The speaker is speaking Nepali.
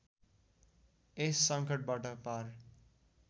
यस सङ्कटबाट पार